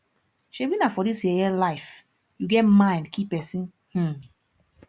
shebi na for dis yeye life you get mind kill person um